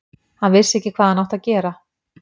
Hann vissi ekki hvað hann átti að gera.